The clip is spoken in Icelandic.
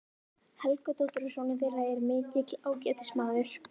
Helgadóttur, og sonur þeirra er mikill ágætismaður.